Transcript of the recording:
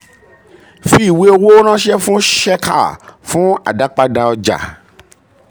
fi ìwé owó ránṣẹ́ fún um shekhar fún àdápadà ọja.